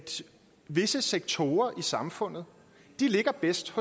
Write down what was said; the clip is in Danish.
visse sektorer i samfundet ligger bedst